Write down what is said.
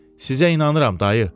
Sizə inanıram, dayı.